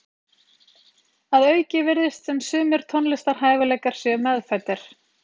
Að auki virðist sem sumir tónlistarhæfileikar séu meðfæddir.